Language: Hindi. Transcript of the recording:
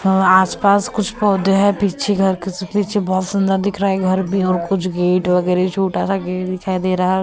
और आसपास कुछ पौधे है पीछे घर के पीछे बहुत सुंदर दिख रहा है घर भी और कुछ गेट वगैरह छोटा सा गेट दिखाई दे रहा है।